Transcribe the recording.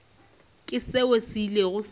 ke seo se ilego sa